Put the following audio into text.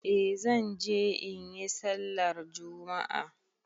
Eh zan je in yi sallar juma'a.